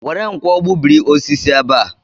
Were nkwọ gbubiri osisi ebe a!